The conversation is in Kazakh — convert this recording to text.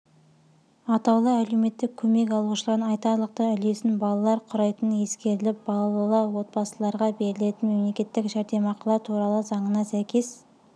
атаулы әлеуметтік көмек алушылардың айтарлықтай үлесін балалар құрайтыныескеріліп балалы отбасыларға берілетін мемлекеттік жәрдемақылар туралы заңына сәйкес